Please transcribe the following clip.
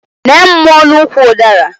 Nee mmụọ n'ukwu ụdara!